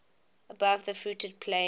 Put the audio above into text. above the fruited plain